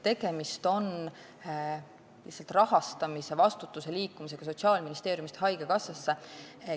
Tegemist on lihtsalt rahastamise vastutuse liikumisega Sotsiaalministeeriumist haigekassasse.